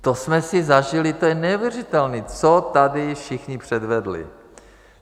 To jsme si zažili, to je neuvěřitelné, co tady všichni předvedli.